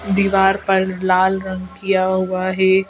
दीवार पर लाल रंग किया हुआ है ।